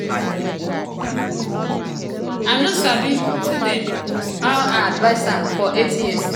i no sabi do dem how i advise am for eight years?